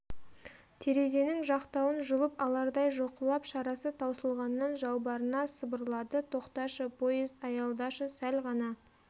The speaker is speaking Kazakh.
терезенің жақтауын жұлып алардай жұлқылап шарасы таусылғаннан жалбарына сыбырлады тоқташы поезд аялдашы сәл ғана